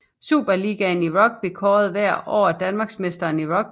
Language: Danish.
Superligaen i rugby kårer hvert år danmarksmesteren i rugby